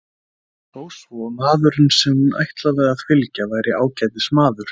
Þó svo maðurinn sem hún ætlaði að fylgja væri ágætis maður.